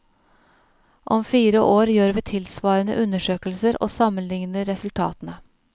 Om fire år gjør vi tilsvarende undersøkelser og sammenligner resultatene.